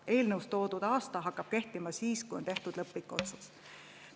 Eelnõus toodud aasta hakkab kehtima siis, kui on tehtud lõplik otsus.